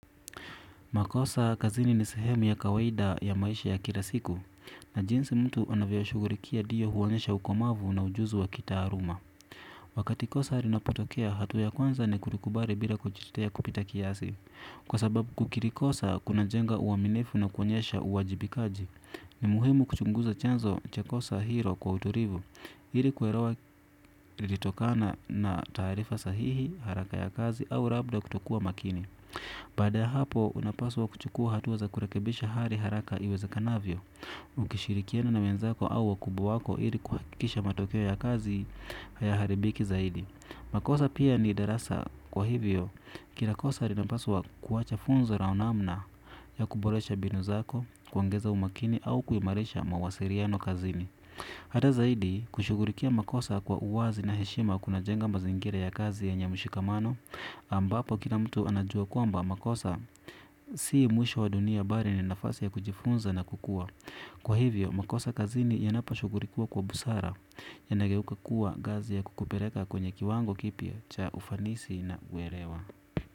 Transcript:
Makosa, kazini ni sehemu ya kawaida ya maisha ya kilasiku, na jinsi mtu anavyoshugulikia ndio huonyesha ukomavu na ujuzi wa kitaaluma. Wakati kosa linapotokea, hatua ya kwanza ni kulikubali bila kujitetea kupita kiasi. Kwa sababu kukiri kosa, kuna jenga uaminifu na kuonyesha uwajibikaji. Ni muhimu kuchunguza chanzo cha kosa hilo kwa utulivu, hili kuelewa ilitokana na taarifa sahihi, haraka ya kazi au labda kutokuwa makini. Baada ya hapo unapaswa kuchukua hatua za kurekebisha hali haraka iwezekanavyo. Ukishirikiana na wenzako au wakubwa wako ili kuhakikisha matokeo ya kazi hayaharibiki zaidi. Makosa pia ni darasa kwa hivyo. Kila kosa linapaswa kuwacha funzo au namna ya kuboresha mbinu zako. Kuongeza umakini au kuimarisha mawasiliano kazini. Hata zaidi kushugulikia makosa kwa uwazi na heshima kuna jenga mazingira ya kazi yenye mshikamano ambapo kila mtu anajua kwamba makosa si mwisho wa dunia bali ni nafasi ya kujifunza na kukua kwa hivyo makosa kazini yanaposhughulikiwa kwa busara yanageuka kuwa ngazi ya kukupeleka kwenye kiwango kipya cha ufanisi na uelewa.